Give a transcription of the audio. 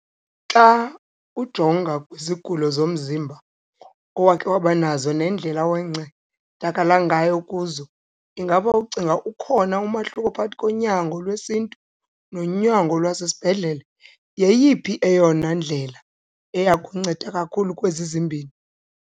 Xa ujonga kwizigulo zomzimba owakhe wabanazo nendlela owancedakala ngayo kuzo, ingaba ucinga ukhona umahluko phakathi konyango lwesiNtu nonyango lwasezibhedlele? Yeyiphi eyona ndlela eyakunceda kakhulu kwezi zimbini?